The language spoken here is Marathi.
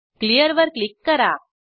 Clearवर क्लिक करा